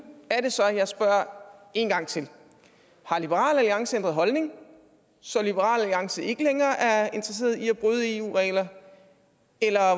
er det så jeg spørger en gang til har liberal alliance ændret holdning så liberal alliance ikke længere er interesseret i at bryde eu regler eller